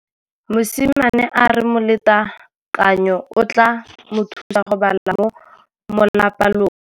Mosimane a re molatekanyô o tla mo thusa go bala mo molapalong.